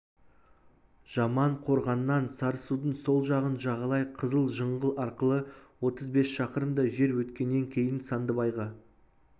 жаман қорғаннан сарысудың сол жағын жағалай қызыл жыңғыл арқылы отыз бес шақырымдай жер өткеннен кейін сандыбайға